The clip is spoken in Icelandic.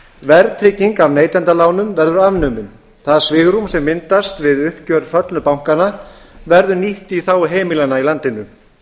verðtrygging á neytendalánum verður afnumin það svigrúm sem myndast við uppgjör föllnu bankanna verður nýtt í þágu heimilanna í landinu